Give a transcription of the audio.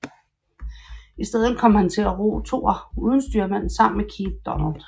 I stedet kom han til at ro toer uden styrmand sammen med Keith Donald